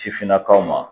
Sifinnakaw ma